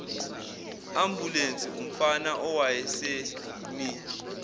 ambulensi umfana owayesemi